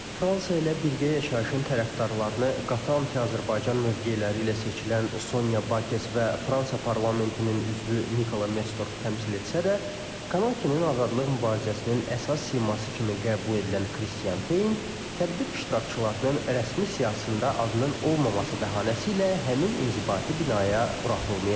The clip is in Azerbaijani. Fransa ilə birgə yaşayışın tərəfdarlarını qatı anti-Azərbaycan mövqeləri ilə seçilən Sonya Bakes və Fransa parlamentinin üzvü Nikola Metzdorf təmsil etsə də, Kanakinin azadlıq mübarizəsinin əsas siması kimi qəbul edilən Kristian Tein tədbir iştirakçılarının rəsmi siyahısında adının olmaması bəhanəsi ilə həmin inzibati binaya buraxılmayıb.